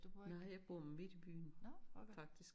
Nej jeg bor midt i byen faktisk